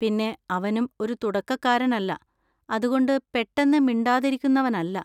പിന്നെ അവനും ഒരു തുടക്കക്കാരൻ അല്ല, അതുകൊണ്ട് പെട്ടെന്ന് മിണ്ടാതിരിക്കുന്നവനല്ല.